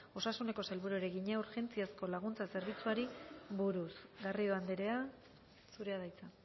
osasuneko sailburuari egina urgentziazko laguntza zerbitzuari buruz garrido andrea zurea da hitza